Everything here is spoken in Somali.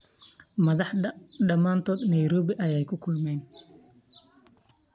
Madhaxta dhamantodh Nairobi aya kukulmayiin.